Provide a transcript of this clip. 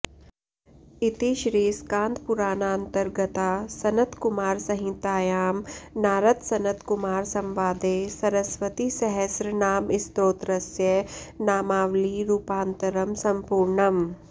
इति श्रीस्कान्दपुराणान्तर्गता सनत्कुमारसंहितायां नारदसनत्कुमारसंवादे सरस्वतीसहस्रनामस्तोत्रस्य नामावली रूपान्तरं सम्पूर्णम्